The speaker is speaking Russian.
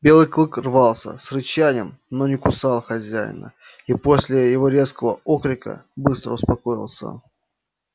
белый клык рвался с рычанием но не кусал хозяина и после его резкого окрика быстро успокоился